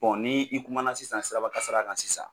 ni i kuma sisan sirabakasara kan sisan,